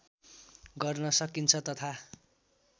गर्न सकिन्छ तथा